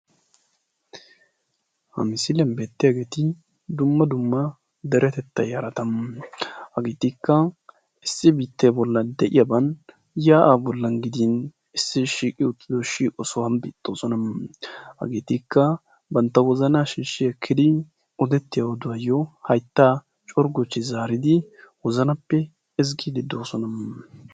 Ha misiliyaan beettiyaageti dumma dumm aderetettaa yaa'aa. hageetikka issi biittee bollan de'iyaaban yaa'aa bollan gdin issi shiiqi uttido shiiqo sohuwaan doosona. hageetikka bantta wozanaa shiishshi ekkidi odettiyaa oduwaayoo hayttaa corgochchi zaridi wozanappe ezggiidi doosona.